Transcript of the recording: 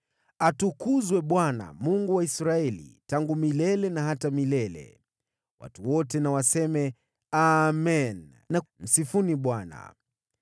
Atukuzwe Bwana , Mungu wa Israeli, tangu milele na hata milele. Nao watu wote wakasema, “Amen,” na “Msifuni Bwana .”